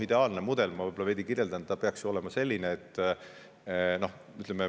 Ma veidi kirjeldan, milline peaks olema ideaalne mudel.